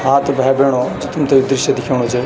हाँ त भै बैणो जु तुमते यु दृश्य दिख्येणू च --